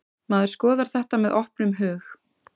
Maður skoðar þetta með opnum hug.